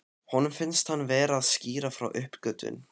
Honum finnst hann vera að skýra frá uppgötvun.